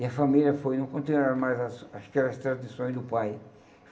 E a família foi não continuaram mais as aquelas tradições do pai.